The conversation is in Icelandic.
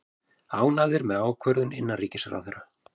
Ánægðir með ákvörðun innanríkisráðherra